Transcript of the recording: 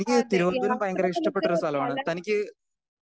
Speaker 1 അതെ. യാത്ര നമുക്ക് പല